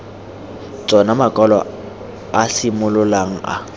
tsona makwalo a simololang a